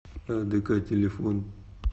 адк телефон